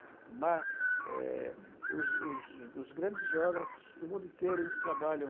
O mar, é os os os grandes geógrafos do mundo inteiro, eles trabalham.